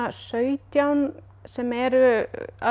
sautján sem eru